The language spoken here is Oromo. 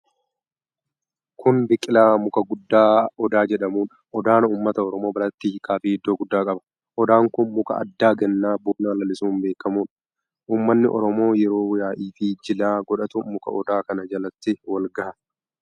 Kuni biqilaa, muka guddaa Odaa jedhamuudha. Odaan ummata Oromoo biratti hiika fi iddoo guddaa qaba. Odaan kun muka addaa gannaa bona lalisuun beekamuudha. Ummanni Oromoo yeroo yaa'ii fi jila godhatu muka Odaa kana jalatti walgaha.